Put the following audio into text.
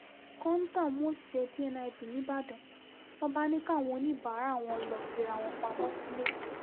kọ́ńtà mú òṣìṣẹ́ dniv nígbàdàn wọn bá ní káwọn oníbàárà wọn lọ́ọ́ fira wọn pamọ́ sílẹ̀